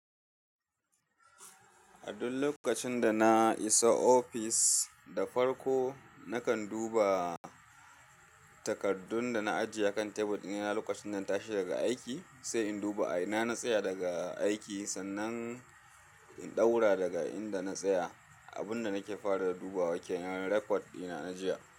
A duk lokacin da na iso ofis da farko, nakan duba takardun da na ajiye akan tebur ɗina. Lokacin da na tashi daga aiki sai in duba a ina na tsaya daga aiki, sannan in ɗaura daga inda na tsaya. Abun da nake fara duba wa ke nan rakot dina na jiya.